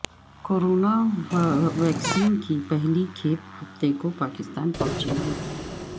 corona vaccine کی پہلی کھیپ ہفتے کو پاکستان پہنچے گی